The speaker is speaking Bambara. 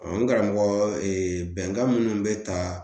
n karamɔgɔ bɛnkan minnu bɛ ta